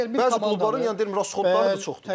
Əgər bir komanda Məhz qol, yəni dedim rastxodları da çoxdur da.